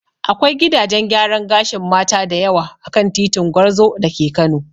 Akwai gidajen gyaran gashin Mata da yawa a kan titin Gwarzo da ke Kano.